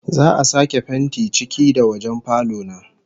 Za'a sake fentin ciki da wajen falo na